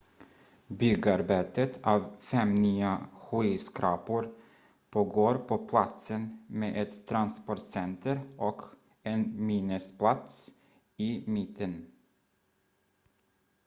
byggarbetet av fem nya skyskrapor pågår på platsen med ett transportcenter och en minnesplats i mitten